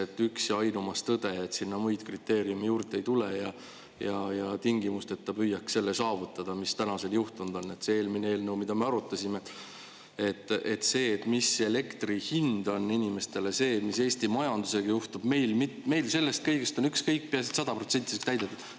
Et üks ja ainumas tõde, et sinna muid kriteeriumi juurde ei tule ja tingimusteta püüaks selle saavutada, mis tänaseni juhtunud on, et see eelmine eelnõu, mida me arutasime, et see, mis elektri hind on inimestele see, mis Eesti majandusega juhtub, meil sellest kõigest on ükskõik, peaasi, et 100% saaks täidetud.